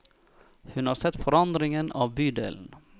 Hun har sett forandringen av bydelen.